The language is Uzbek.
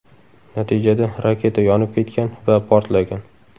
Natijada raketa yonib ketgan va portlagan.